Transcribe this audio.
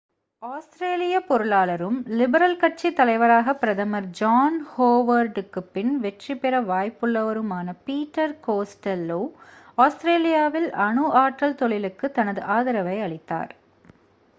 ஆஸ்திரேலியப் பொருளாளரும் லிபரல் கட்சித் தலைவராகப் பிரதமர் ஜான் ஹோவர்டுக்குப் பின் வெற்றிபெற வாய்ப்புள்ளவருமான பீட்டர் கோஸ்டெல்லோ ஆஸ்திரேலியாவில் அணு ஆற்றல் தொழிலுக்குத் தனது ஆதரவை அளித்தார்